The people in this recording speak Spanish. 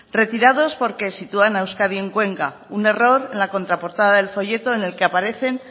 retirados porque sitúan a euskadi en cuenca un error en la contraportada del folleto en la que aparecen